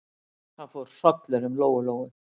Það fór hrollur um Lóu-Lóu.